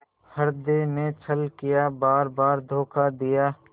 हृदय ने छल किया बारबार धोखा दिया